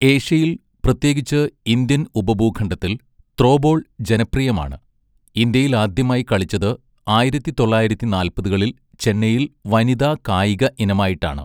ഏഷ്യയിൽ, പ്രത്യേകിച്ച് ഇന്ത്യൻ ഉപഭൂഖണ്ഡത്തിൽ, ത്രോബോൾ ജനപ്രിയമാണ്, ഇന്ത്യയിൽ ആദ്യമായി കളിച്ചത് ആയിരത്തിതൊള്ളായിരത്തിനാല്പതുകളിൽ ചെന്നൈയിൽ വനിതാ കായിക ഇനമായിട്ടാണ്.